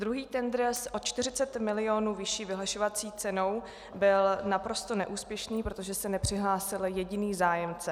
Druhý tendr s o 40 milionů vyšší vyhlašovací cenou byl naprosto neúspěšný, protože se nepřihlásil jediný zájemce.